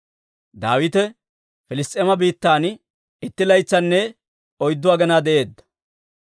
Daawite Piliss's'eema biittan itti laytsanne oyddu aginaa de'eedda.